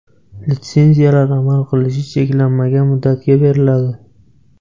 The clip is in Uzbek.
Litsenziyalar amal qilishi cheklanmagan muddatga beriladi.